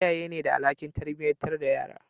iyaye ne da alhakin tarbiyatar da yara